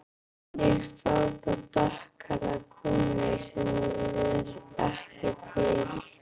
Ég sá þar dökkhærða konu sem var ekki til.